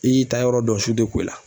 I y'i ta yɔrɔ dɔn su tɛ ko i la.